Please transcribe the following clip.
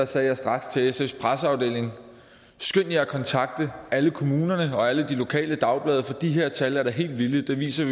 sagde jeg straks til sfs presseafdeling skynd jer at kontakte alle kommunerne og alle de lokale dagblade for de her tal er da helt vilde de viser